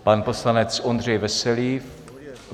Pan poslanec Ondřej Veselý.